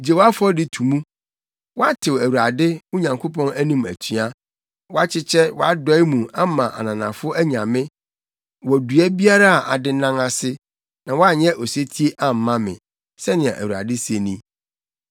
Gye wo afɔdi to mu, woatew Awurade, wo Nyankopɔn anim atua, woakyekyɛ wʼadɔe mu ama ananafo anyame wɔ dua biara a adennan ase, na woanyɛ osetie amma me,’ ” sɛnea Awurade se ni.